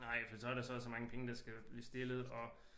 Nej for så er der så og så mange penge der skal blive stillet og